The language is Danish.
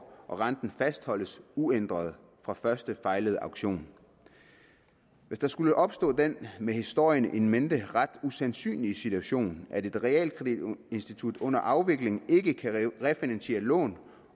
og renten fastholdes uændret fra første fejlede aktion hvis der skulle opstå den med historien in mente ret usandsynlige situation at et realkreditinstitut under afvikling ikke kan refinansiere lån